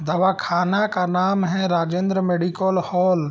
दवाखाना का नाम है राजेंद्र मेडिकल हॉल ।